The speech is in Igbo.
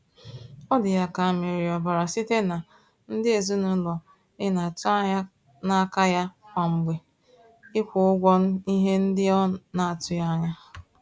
Ọ dị ya ka a mịrị ya ọbara site na ndị ezinaụlọ ị na-atụanya n'aka ya kwa mgbe ịkwụ ụgwọ ihe ndị ọ na-atụghị anya.